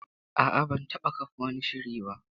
A'a, ba zan iya zama blogger ba